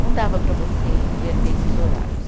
Não dava para você inverter esses horários.